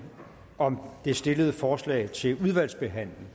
om det stillede forslag til en udvalgsbehandling